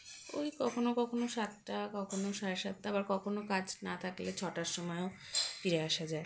ওই কখনো কখনো সাতটা কখনো সাড়ে সাতটা আবার কখনো কাজ না থাকলে ছটার সময়ও ফিরে আসা যায়